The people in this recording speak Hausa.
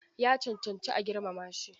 Ya cancanci a girmama shi.